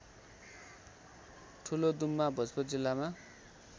ठुलोदुम्मा भोजपुर जिल्लामा